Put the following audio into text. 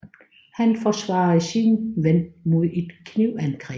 Han forsvarede sin ven mod et knivangreb